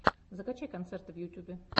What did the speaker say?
закачай концерты в ютьюбе